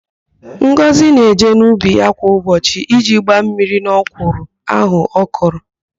Ngọzị na-eje n'ubi ya kwa ụbọchị ije gbaa mmiri n'ọkwụrụ ahụ ọ kọrọ.